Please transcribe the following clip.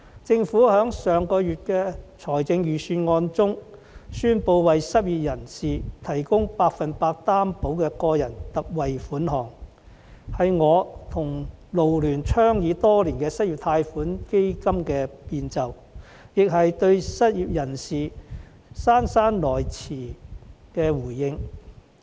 政府在上月公布的財政預算案中，宣布為失業人士推出百分百擔保個人特惠貸款計劃，這是我與港九勞工社團聯會倡議多年的失業貸款基金的變奏，也是對失業人士姍姍來遲的回應。